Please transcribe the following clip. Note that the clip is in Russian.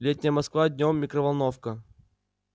летняя москва днём микроволновка